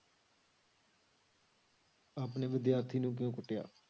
ਆਪਣੇ ਵਿਦਿਆਰਥੀ ਨੂੰ ਕਿਉਂ ਕੁੱਟਿਆ?